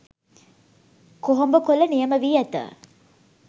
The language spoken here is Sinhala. කොහොඹ කොළ නියම වී ඇත.